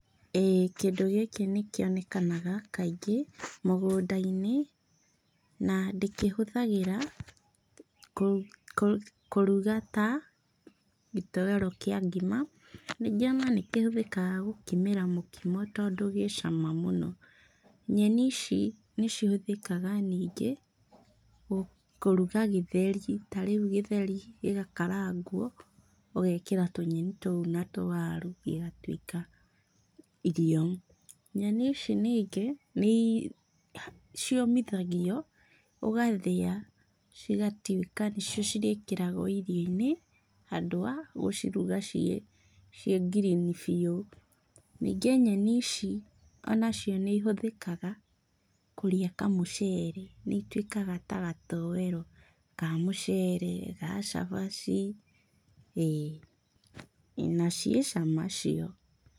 Ĩĩ kĩndũ gĩkĩ nĩkĩonekanaga kaingĩ mũgũnda-inĩ, na ndĩkĩhũthagĩra kũruga ta gĩtoero kĩa ngima, ningĩ ona nĩkĩhũthĩkaga gũkimĩra mũkimo tondũ gĩ cama mũno. Nyeni ici nĩcihũthĩkaga ningĩ, kũruga gĩtheri. Ta rĩu gĩtheri gĩgakarangwo, ũgekira tũnyeni tũu na tũwaru, igatuĩka irio. Nyeni ici ningĩ nĩciũmithagio, ũgathĩa, cigatuĩka nĩcio cirĩkĩragwo irio-inĩ, handũ ga gũciruga ciĩ ngirini biũ. Ningĩ nyeni ici onacio nĩihũthĩkaga kũrĩa kamũcere, nĩituĩkaga ta gatoero ka mũcere, ga cabaci, ĩĩ, na ciĩ cama cio.